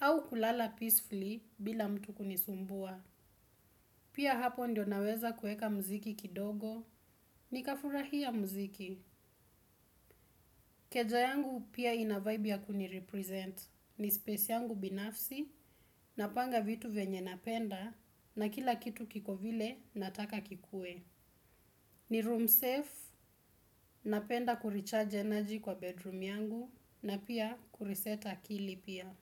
au kulala peacefully bila mtu kunisumbua. Pia hapo ndio naweza kuweka muziki kidogo. Nikafurahia muziki. Keja yangu pia ina vibe ya kunirepresent. Ni space yangu binafsi. Napanga vitu venye napenda. Na kila kitu kiko vile nataka kikuwe. Ni room safe. Napenda kurecharge energy kwa bedroom yangu. Na pia kureset akili pia.